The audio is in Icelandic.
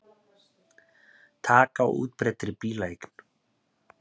Taka á útbreiddri bílaeign